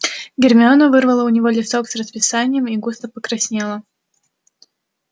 гермиона вырвала у него листок с расписанием и густо покраснела